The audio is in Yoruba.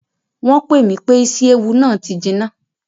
Wọn pe mi pe ìsi-éwu náà ti jina